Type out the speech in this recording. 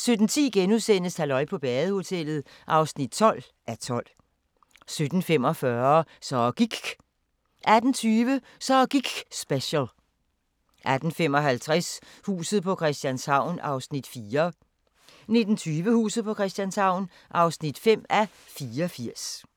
17:10: Halløj på badehotellet (12:12)* 17:45: Så gIKK' 18:20: Så giKK' special 18:55: Huset på Christianshavn (4:84) 19:20: Huset på Christianshavn (5:84)